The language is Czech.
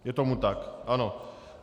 Je tomu tak, ano.